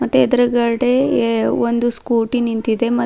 ಮತ್ತೆ ಎದರಗಡೆ ಎ ಒಂದು ಸ್ಕೂಟಿ ನಿಂತಿದೆ ಮ್ --